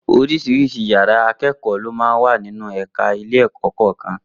Oríṣiríṣi yàrá ìkẹ́kọ̀ọ́ ló máa ń wà nínú ẹ̀ka ẹ̀kọ́ kọ̀ọ̀kan